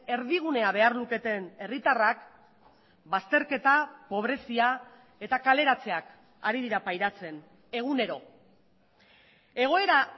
erdigunea behar luketen herritarrak bazterketa pobrezia eta kaleratzeak ari dira pairatzen egunero egoera